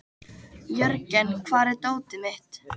Jörgen, hvar er dótið mitt?